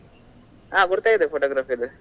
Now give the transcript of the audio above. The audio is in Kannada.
ಹಾ ಗುರ್ತ ಇದೆ photography ದ್ದು.